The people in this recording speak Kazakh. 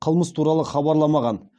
қылмыс туралы хабарламаған